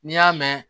N'i y'a mɛn